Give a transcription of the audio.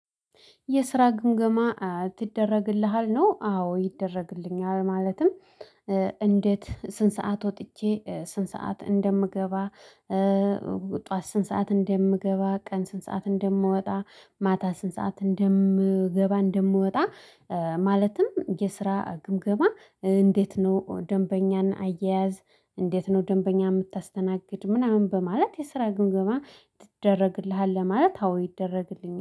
የስራ ግምገማ ትደረግልሃል ነው? አዎ ይደረግልኛል። ማለትም እንዴት ስንት ሰዓት ወጥቼ ስንት ሰዓት እንደምገባ? ጠዋት ስንት ሰዓት እንደምገባ ቀን ስንት ሰዓት እንደምወጣ? ማታ ስንት ሰዓት እንደምገባ እንደምወጣ። ማለትም የስራ ግምገማ እንዴት ነው? ደንበኛን አያያዝ? እንዴት ነው ደንበኛ የምታስተናግድ ምናምን በማለት የስራ ግምገማ ተደረግልሃል? ለማለት አዎ ይደረግልኛል